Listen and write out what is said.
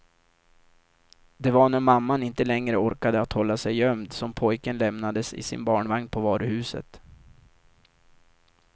Det var när mamman inte längre orkade att hålla sig gömd, som pojken lämnades i sin barnvagn på varuhuset.